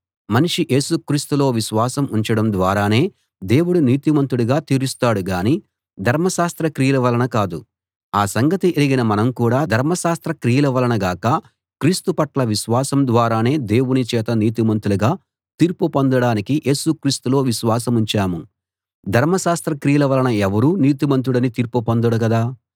మనిషి యేసు క్రీస్తులో విశ్వాసం ఉంచడం ద్వారానే దేవుడు నీతిమంతుడుగా తీరుస్తాడు గాని ధర్మశాస్త్ర క్రియల వలన కాదు ఆ సంగతి ఎరిగిన మనం కూడా ధర్మశాస్త్ర క్రియల వలన గాక క్రీస్తు పట్ల విశ్వాసం ద్వారానే దేవుని చేత నీతిమంతులుగా తీర్పు పొందడానికి యేసు క్రీస్తులో విశ్వాసముంచాము ధర్మశాస్త్ర క్రియల వలన ఎవరూ నీతిమంతుడని తీర్పు పొందడు గదా